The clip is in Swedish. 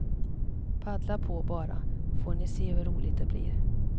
Paddla på bara, får ni se hur roligt det blir.